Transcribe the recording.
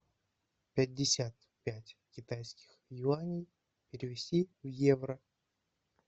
пятьдесят пять китайских юаней перевести в евро